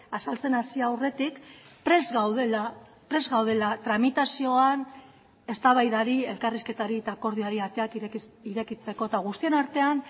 azaltzen hasi aurretik prest gaudela prest gaudela tramitazioan eztabaidari elkarrizketari eta akordioari ateak irekitzeko eta guztion artean